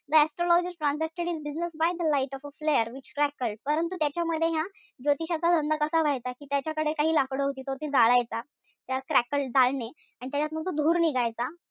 The astrologer transacted his business by the light of a flare which crackled परंतु त्याच्यामध्ये ह्या ज्योतिषाचा धंदा कसा चालायचा कि त्याच्याकडे काही लाकूड होती ती तो जाळायचा. Crackled जाळणे. अन त्याच्यात मग तो धूर निघायचा.